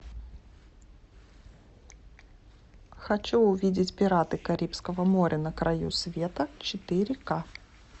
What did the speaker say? хочу увидеть пираты карибского моря на краю света четыре ка